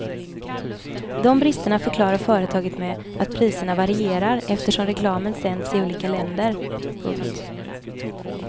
De bristerna förklarar företaget med att priserna varierar eftersom reklamen sänds i olika länder. punkt